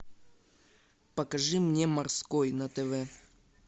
покажи мне морской на тв